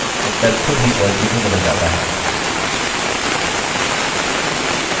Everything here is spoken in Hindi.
उत्तर खुद ही positive में बदल जाता है